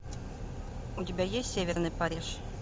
у тебя есть северный париж